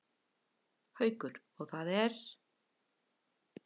Haukur: Og það er?